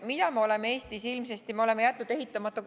Mida me oleme Eestis ilmselt tegemata jätnud?